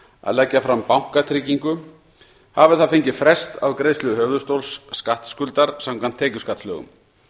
að leggja fram bankatryggingu hafi það fengið frest á greiðslu höfuðstóls skattskuldar samkvæmt tekjuskattslögum